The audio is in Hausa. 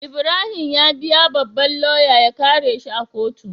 Ibrahim ya biya babban loya ya kare shi a kotu